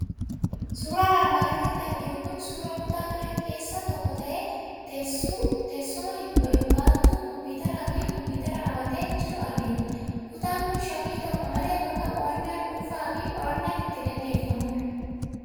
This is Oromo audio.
Suuraan armaan oliitti arginu kun suuraa kutaa manaa keessaa tokko ta'ee, teessuma, baattuu Kompiitaraa fi Kompiitara qabatee jiru argina. Kutaan kun shakkii tokko malee bakka qo'annaan dhuunfaa fi qorannaan itti gaggeeffamudha.